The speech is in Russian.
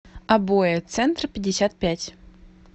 обои центрпятьдесятпять